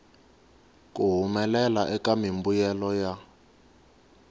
ku humelela eka mimbuyelo ya